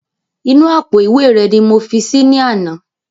Inú àpò ìwé rẹ ni mo fi si ní àná